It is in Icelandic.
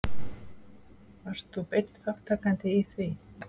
Varst þú beinn þátttakandi í því?